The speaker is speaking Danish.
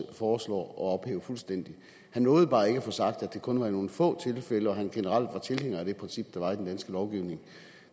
foreslår at ophæve fuldstændig han nåede bare ikke at få sagt at det kun var nogle få tilfælde og at han generelt er tilhænger af det princip der er i den danske lovgivning